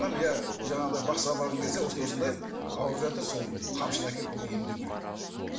иә жаңағыдай бақсыға барған кезде осындай осындай ауырып жатыр сол қамшыны әкеліп бұл емдеу керек деді